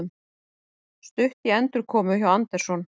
Stutt í endurkomu hjá Anderson